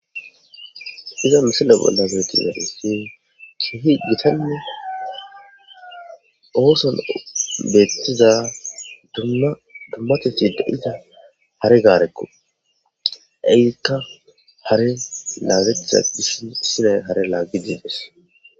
iza misila bollaszureti daretin ki hi gitane ooson beettiza dummateti da iza hare gaarekko iikka hare laagethia dishi misila hare laaggi diides